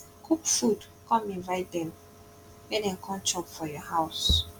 cook food con invite dem mek dem com chop for for yur house